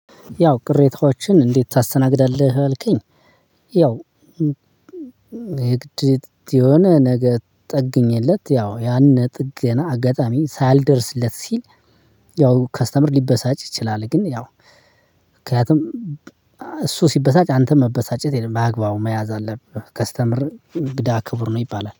ያው ቅሬታዎችን እንዴት ታሰናግዳለህ ላልከኝ? ያው ይግድ የሆነ ነገር ጠግኝለት ያው ያን ጥገና አጋጣሚ ሳያልደርስለት ሲል ያው ከስተመር ሊበሳጭ ይችላል። ግን ያው ምክንያቱም እሱ ሲበሳጭ አንተ መበሳጨት የለም ባያግባው መያዝ አለብህ ከስተምር እንግዳ ክቡር ነው ይባላል